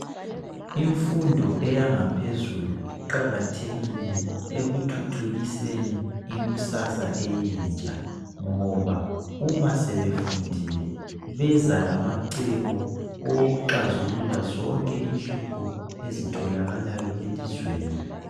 Imfundo eyangaphezulu iqakathekile ekuthuthukiseni ikusasa eyentsha. Ngoba uma sebefundile beza lamacebo okuxazulula zonke inhlupho ezitholakalayo elizweni.